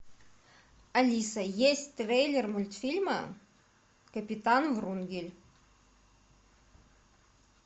алиса есть трейлер мультфильма капитан врунгель